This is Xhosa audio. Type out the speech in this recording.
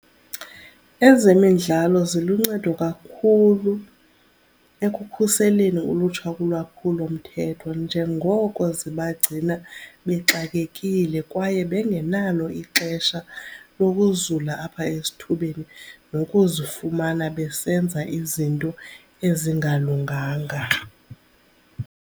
Ezemidlalo ziluncedo kakhulu ekukhuseleni ulutsha kulwaphulomthetho njengoko zibagcina bexakekile kwaye bengenalo ixesha lokuzula apha esithubeni, nokuzifumana besenza izinto ezingalunganga.